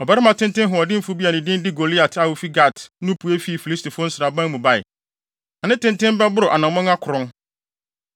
Ɔbarima tenten hoɔdenfo bi a ne din de Goliat a ofi Gat no pue fii Filistifo no nsraban mu bae. Na ne tenten bɛboro anammɔn akron.